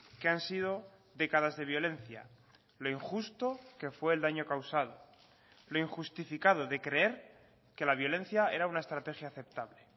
que han sido décadas de violencia lo injusto que fue el daño causado lo injustificado de creer que la violencia era una estrategia aceptable